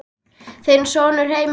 Þinn sonur Heimir Þór.